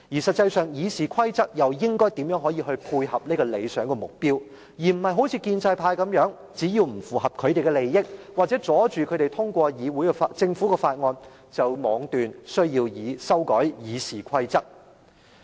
實際上，《議事規則》又應該如何配合這個理想目標，而非像建制派般，只要是不符合他們的利益，或者阻礙他們通過政府法案，便妄斷要修改《議事規則》。